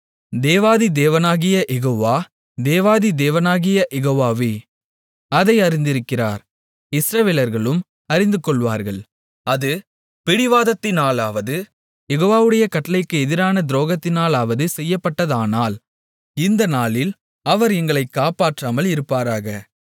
தேவாதி தேவனாகிய யெகோவா தேவாதி தேவனாகிய யெகோவாவே அதை அறிந்திருக்கிறார் இஸ்ரவேலர்களும் அறிந்துகொள்ளுவார்கள் அது பிடிவாதத்தினாலாவது யெகோவாவுடைய கட்டளைக்கு எதிரான துரோகத்தினாலாவது செய்யப்பட்டதானால் இந்த நாளில் அவர் எங்களைக் காப்பாற்றாமல் இருப்பாராக